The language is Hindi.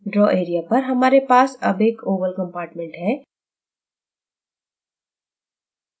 draw area पर हमारे पास अब एक oval compartment है